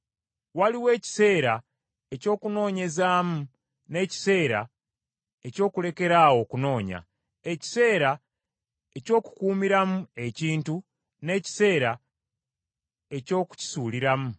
waliwo ekiseera eky’okunoonyezaamu n’ekiseera eky’okulekeraawo okunoonya; ekiseera eky’okukuumiramu ekintu n’ekiseera eky’okukisuuliramu;